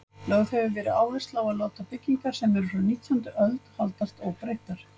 Lögð hefur verið áhersla á að láta byggingarnar, sem eru frá nítjándu öld, haldast óbreyttar.